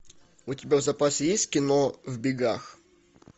у тебя в запасе есть кино в бегах